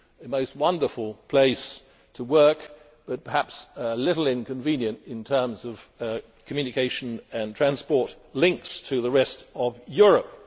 A most wonderful place to work, but perhaps a little inconvenient in terms of communication and transport links to the rest of Europe.